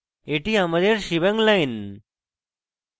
এটি আমাদের shebang line